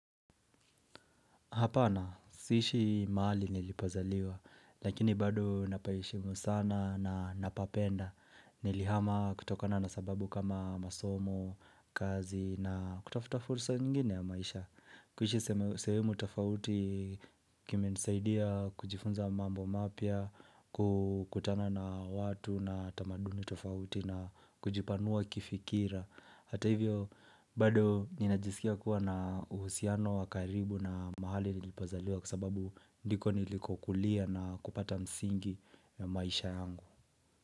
Hapana, siishi mahali nilipozaliwa. Lakini bado napaheshimu sana na napapenda. Nilihama kutokana na sababu kama masomo, kazi na kutafuta fursa nyingine ya maisha. Kuishi sehemu tofauti kimenisaidia kujifunza mambo mapya, kukutana na watu na tamaduni tofauti na kujipanua kifikira. Hata hivyo bado ninajisikia kuwa na uhusiano wa karibu na mahali nilipozaliwa kwa sababu ndiko nilikokulia na kupata msingi ya maisha yangu.